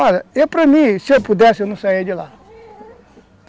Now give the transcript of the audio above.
Olha, eu para mim, se eu pudesse, eu não saia de lá.